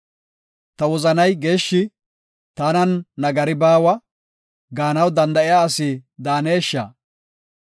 “Ta wozanay geeshshi; tanan nagari baawa” gaanaw danda7iya asi daanesha?